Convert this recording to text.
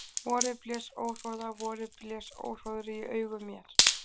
Vorið blés óhroða, vorið blés óhróðri í augu mér.